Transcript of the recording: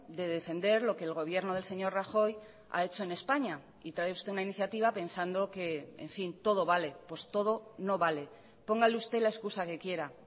de defender lo que el gobierno del señor rajoy ha hecho en españa y trae usted una iniciativa pensando que en fin todo vale pues todo no vale póngale usted la excusa que quiera